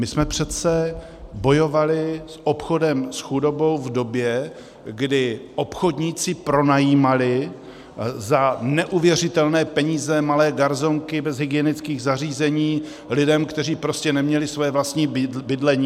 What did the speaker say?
My jsme přece bojovali s obchodem s chudobou v době, kdy obchodníci pronajímali za neuvěřitelné peníze malé garsonky bez hygienických zařízení lidem, kteří prostě neměli své vlastní bydlení.